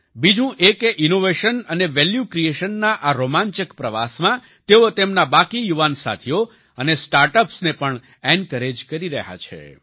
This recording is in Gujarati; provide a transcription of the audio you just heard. બીજું એ કે ઈનોવેશન અને વેલ્યૂ ક્રિએશનના આ રોમાંચક પ્રવાસમાં તેઓ તેમના બાકી યુવાન સાથીઓ અને સ્ટાર્ટઅપ્સને પણ એન્કોરેજ કરી રહ્યા છે